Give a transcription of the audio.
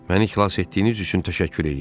Məni xilas etdiyiniz üçün təşəkkür edirəm.